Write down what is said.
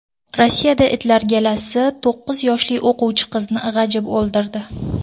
Rossiyada itlar galasi to‘qqiz yoshli o‘quvchi qizni g‘ajib o‘ldirdi.